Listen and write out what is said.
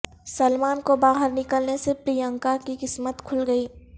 سلمان کو باہر نکلنے سے پرینکاکی قسمت کھل گئی